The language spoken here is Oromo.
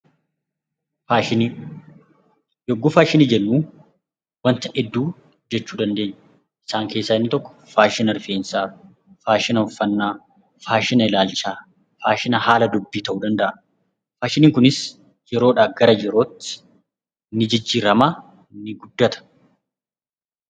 Faashinii, yogguu faashinii jennu waanta hedduu jechuu dandeenya. Isaan keessaa inni tokko faashina rifeensaa, faashina uffannaa, faashina ilaalchaa, faashina haala dubbii tahuu danda'a. Faashiniin kunis yeroodhaa gara yerootti ni jijjirama, ni guddata.